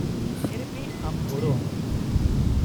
-Therapy ᱟᱢ ᱜᱚᱲᱚ ᱟᱢᱟᱭ ᱾